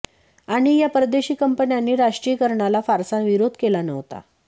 आणि या परदेशी कंपन्यांनी राष्ट्रीयीकरणाला फारसा विरोध केला नव्हता